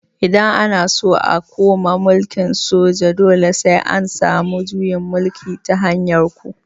Idan ana so a koma mulkin soja dole sai an samu juyin mulki ta hanyar ku